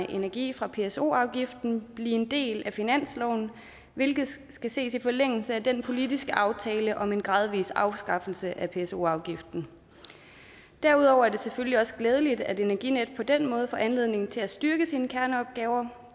energi fra pso afgiften blive en del af finansloven hvilket skal ses i forlængelse af den politiske aftale om en gradvis afskaffelse af pso afgiften derudover er det selvfølgelig også glædeligt at energinet på den måde får anledning til at styrke sine kerneopgaver